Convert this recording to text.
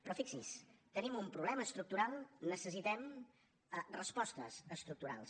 però fixi’s tenim un problema estructural necessitem respostes estructurals